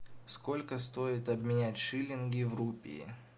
сколько стоит обменять шиллинги в рупии